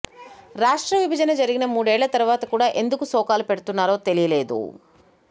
రాష్ట్ర విభజన జరిగిన మూడేళ్ల తరువాత కూడా ఎందుకు శోకాలు పెడుతున్నారో తెలియదు